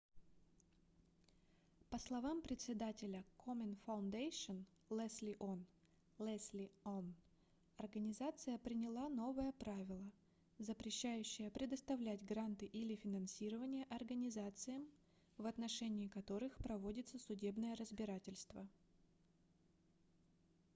по словам представителя komen foundation лесли он leslie aun организация приняла новое правило запрещающее предоставлять гранты или финансирование организациям в отношении которых проводится судебное разбирательство